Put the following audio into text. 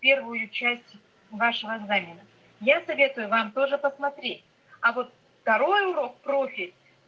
первую часть вашего задания я советую вам тоже посмотреть а вот второй урок профиль